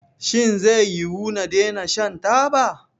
Shin zai yiwu na daina shan taba?